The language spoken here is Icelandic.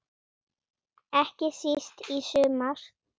Ekki síst í sumar.